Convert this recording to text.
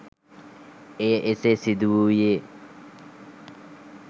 එය එසේ සිදු වූයේ